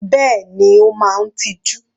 Bẹ́ẹ̀ni, Ó máa ń tiju.